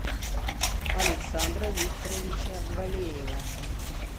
александра викторовича валеева